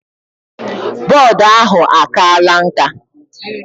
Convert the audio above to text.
Board ahụ akala nka?